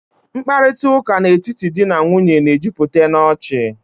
Mkparịtaụ́ká n'etiti di na nwunye na-ejupụta n'ọchị